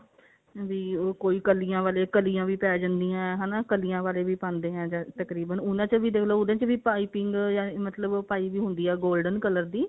ਵੀ ਉਹ ਕਲੀਆਂ ਵਾਲੇ ਕਲੀਆਂ ਵੀ ਪੈ ਜਾਂਦੀਆਂ ਹਨਾ ਕਲੀਆਂ ਵਾਲੇ ਵੀ ਪਾਉਂਦੇ ਨੇ ਤਕਰੀਬਨ ਉਹਨਾਂ ਚ ਦੇਖਲੋ ਉਹਦੇ ਚ ਵੀ ਪਾਈਪਿੰਨ ah ਪਾਈ ਵੀ ਹੁੰਦੀ ਆ golden color ਦੀ